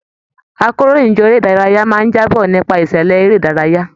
Àkòróyinjọ́ eré ìdárayá máa n jaábọ̀ nípa ìṣẹlẹ eré ìdárayá.